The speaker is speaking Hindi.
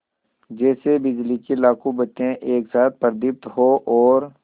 जैसे बिजली की लाखों बत्तियाँ एक साथ प्रदीप्त हों और